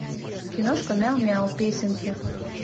киношка мяу мяу песенки